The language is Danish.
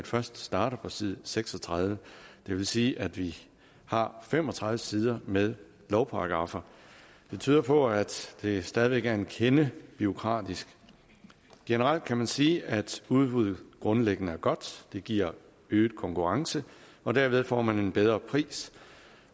først starter på side seks og tredive det vil sige at vi har fem og tredive sider med lovparagraffer det tyder på at det stadig væk er en kende bureaukratisk generelt kan man sige at udbud grundlæggende er godt det giver øget konkurrence og derved får man en bedre pris